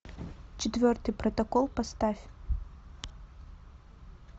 четвертый протокол поставь